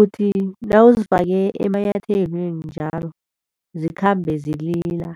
Uthi nawuzifake emanyathelweni njalo zikhambe zilila.